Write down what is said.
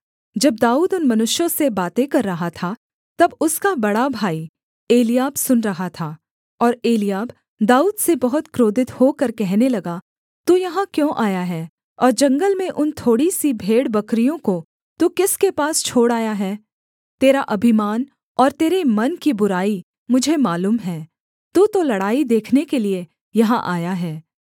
जब दाऊद उन मनुष्यों से बातें कर रहा था तब उसका बड़ा भाई एलीआब सुन रहा था और एलीआब दाऊद से बहुत क्रोधित होकर कहने लगा तू यहाँ क्यों आया है और जंगल में उन थोड़ी सी भेड़ बकरियों को तू किसके पास छोड़ आया है तेरा अभिमान और तेरे मन की बुराई मुझे मालूम है तू तो लड़ाई देखने के लिये यहाँ आया है